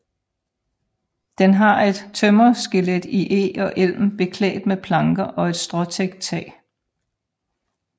Den har et tømmerskelet i eg og elm beklædt med planker og et stråtækt tag